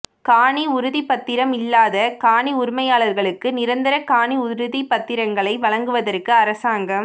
காணி உறுதிப்பத்திரம் இல்லாத காணி உரிமையாளர்களுக்கு நிரந்தர காணி உறுதிப்பத்திரங்களை வழங்குவதற்கு அரசாங்கம்